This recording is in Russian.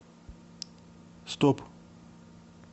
стоп